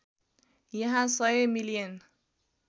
यहाँ १०० मिलियन